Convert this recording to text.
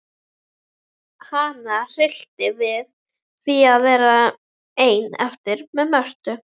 Hana hryllti við því að verða ein eftir með Mörtu.